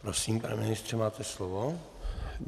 Prosím, pane ministře, máte slovo.